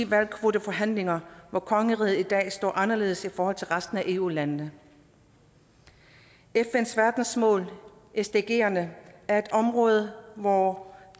hvalkvoteforhandlinger hvor kongeriget i dag står anderledes i forhold til resten af eu landene fns verdensmål sdgerne er et område hvor